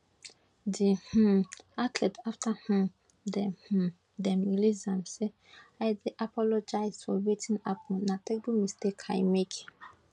di um athlete afta um dem um dem release am say i dey apologise for wetin happun na terrible mistake i make